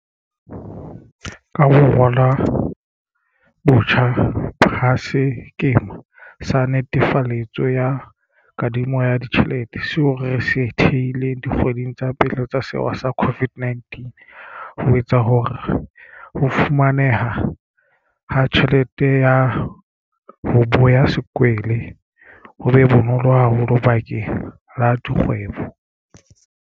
Ka ho ralwa botjha ha sekema sa netefaletso ya kadimo ya ditjhelete, seo re se thehileng dikgweding tsa pele tsa sewa sa COVID-19, ho etsa hore ho fumaneha ha tjhelete ya 'ho boya sekwele' ho be bonolo haholo bakeng la dikgwebo.